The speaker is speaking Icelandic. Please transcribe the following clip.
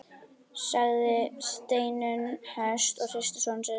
sagði Steinunn höst og hristi son sinn.